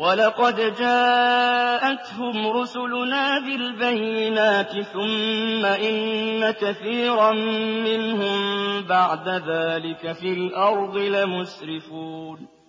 وَلَقَدْ جَاءَتْهُمْ رُسُلُنَا بِالْبَيِّنَاتِ ثُمَّ إِنَّ كَثِيرًا مِّنْهُم بَعْدَ ذَٰلِكَ فِي الْأَرْضِ لَمُسْرِفُونَ